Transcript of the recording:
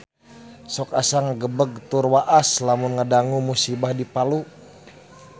Sok asa ngagebeg tur waas lamun ngadangu musibah di Palu